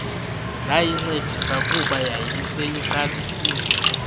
ndayincedisa kuba yayiseyiqalisile